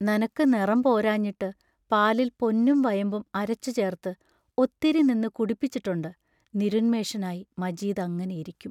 നനക്കു നെറം പോരാഞ്ഞിട്ടു പാലിൽ പൊന്നും വയമ്പും അരച്ചു ചേർത്ത് ഒത്തിരി നിന്ന് കുടിപ്പിച്ചിട്ടൊണ്ട് നിരുന്മേഷനായി മജീദ് അങ്ങനെ ഇരിക്കും.